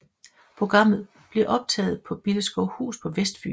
Programmet bliver optaget på Billeskovhus på Vestfyn